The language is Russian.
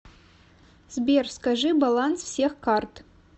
сбер скажи баланс всех карт